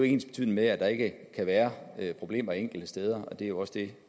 ensbetydende med at der ikke kan være problemer enkelte steder og det er jo også det